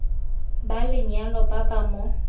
ba lenyalo ba ba mo